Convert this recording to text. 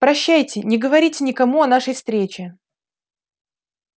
прощайте не говорите никому о нашей встрече